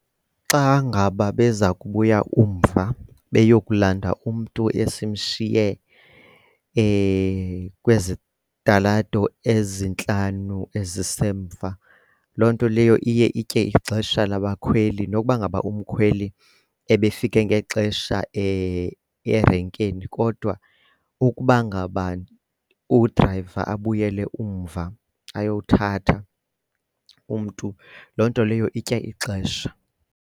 Xa ngaba beza kubuya umva beyokulanda umntu esimshiye kwezitalato ezintlanu ezisemva, loo nto leyo iye itye ixesha labakhweli nokuba ngaba umkhweli ebefike ngexesha erenkini kodwa ukuba ngaba udrayiva abuyele umva ayothatha umntu loo nto leyo itya ixesha.